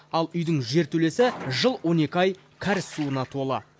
ал үйдің жертөлесі жыл он екі ай кәріз суына толы